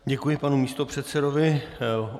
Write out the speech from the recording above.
Děkuji panu místopředsedovi.